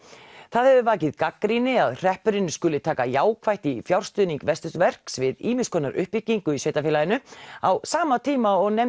það hefur vakið gagnrýni að hreppurinn skuli taka jákvætt í fjárstuðning Vesturverks við ýmis konar uppbyggingu í sveitarfélaginu á sama tíma og